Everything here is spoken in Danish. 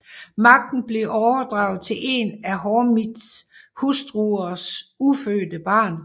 Magten blev overdraget til en af Hormizds hustruers ufødte barn